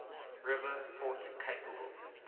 river port capable